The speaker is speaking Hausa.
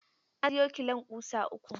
Ka sayo kilon ƙusa uku.